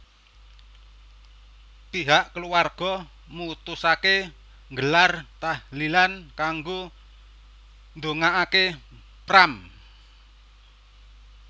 Pihak keluarga mutusaké nggelar tahlilan kanggo ndongakaké Pram